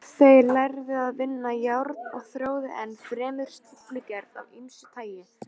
Þeir lærðu að vinna járn og þróuðu enn fremur stíflugerð af ýmsu tagi.